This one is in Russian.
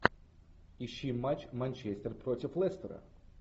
ищи матч манчестер против лестера